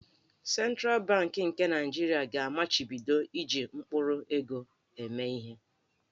Sentral Bankị nke Naịjirịa ga-amachibido iji mkpụrụego eme ihe.